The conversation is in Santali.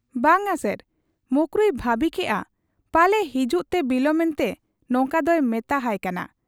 ᱼᱼᱼᱵᱟᱝ ᱟ ᱥᱟᱨ ᱾ ᱢᱚᱠᱨᱩᱭ ᱵᱷᱟᱹᱵᱤ ᱠᱮᱜ ᱟ ᱯᱟᱞᱮ ᱦᱤᱡᱩᱜᱨᱮ ᱵᱤᱞᱚᱢᱮᱱᱛᱮ ᱱᱚᱝᱠᱟ ᱫᱚᱭ ᱢᱮᱛᱟ ᱦᱟᱭ ᱠᱟᱱᱟ ᱾